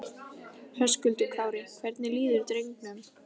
Höskuldur Kári: Hvernig líður drengnum?